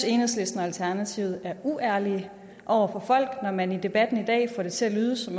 enhedslisten og alternativet er uærlige over for folk når man i debatten i dag får det til at lyde som